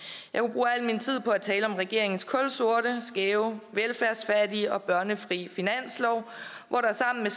bruge al min tid på at tale om regeringens kulsorte skæve velfærdsfattige og børnefri finanslov hvor der sammen